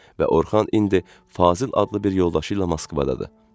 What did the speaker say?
Və Orxan indi Fazil adlı bir yoldaşı ilə Moskvadadır.